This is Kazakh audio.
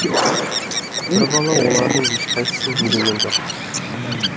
бір бала олардың ешқайсысын елеген жоқ